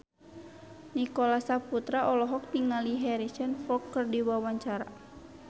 Nicholas Saputra olohok ningali Harrison Ford keur diwawancara